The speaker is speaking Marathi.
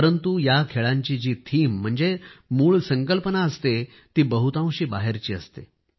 परंतु या खेळांची जी थीम म्हणजे मूळ संकल्पना असते ती बहुतांशी बाहेरची असते